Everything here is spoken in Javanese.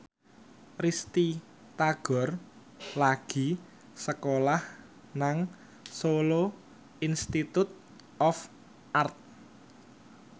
Risty Tagor lagi sekolah nang Solo Institute of Art